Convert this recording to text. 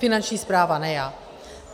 Finanční správa, ne já.